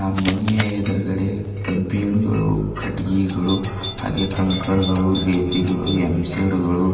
ಆ ಮನಿಯ ಎದುರ್ಗಡೆ ಕಬ್ಬಿಣಗಳು ಕಟ್ಟಿಗೆಗಳು ಹಾಗೆ ಕಂಕರ್ ಗಳು ರೀತಿ ಗಳು ಹಾಗೆ ಎಂಸೆಡ್ ಗಳು